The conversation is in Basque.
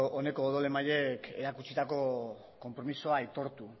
oneko odol emaileek erakutsitako konpromisoa aitortu